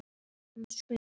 Þar lauk því námi.